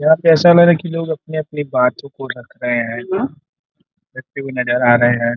यहाँ पे ऐसा लग रहा कि लोग अपनी-अपनी बातों को रख रहे हैं रखते हुए नजर आ रहे हैं।